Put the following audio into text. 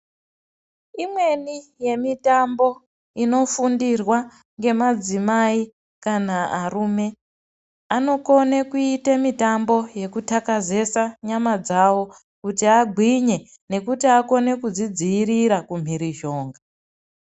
Imweni yemitambo inofundirwa ngemadzimai kana arume. Anokona kuita mitambo yekutakazesa nyama dzavo kuti agwinye nekuti akone kudzidzivirira kumwirizhonga.